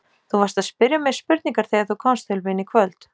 Þú varst að spyrja mig spurningar þegar þú komst til mín í kvöld.